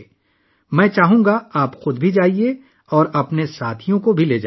میں چاہوں گا کہ آپ خود وہاں جائیں اور اپنے دوستوں کو ساتھ لے جائیں